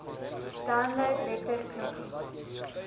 download letter knoppie